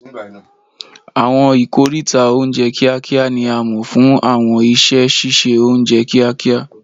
Àwọn ikoríta oúnjẹ kíákíá ni a mọ̀ fún àwọn iṣẹ́ ṣíṣe oúnjẹ kíákíá